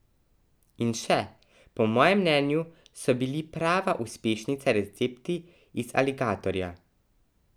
In še: 'Po mojem mnenju so bili prava uspešnica recepti iz aligatorja.